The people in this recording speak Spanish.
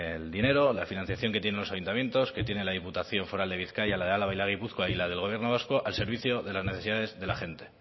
el dinero la financiación que tienen los ayuntamientos que tiene la diputación foral de bizkaia la de álava y la de gipuzkoa y la del gobierno vasco al servicio de las necesidades de la gente